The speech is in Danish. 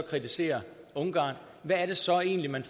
kritiserer ungarn hvad er det så egentlig man